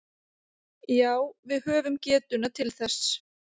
Já við höfum getuna til þess